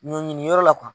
Ɲɔn ɲiniyɔrɔ la